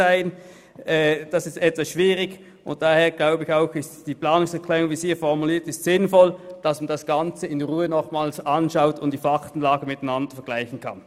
Das ist etwas schwierig, und deshalb erachte ich auch die Planungserklärung 1 mit der vorliegenden Formulierung als sinnvoll, damit man das Ganze in Ruhe noch einmal anschaut und die Faktenlage miteinander vergleichen kann.